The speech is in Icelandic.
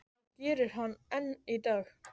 Það gerir hann enn í dag.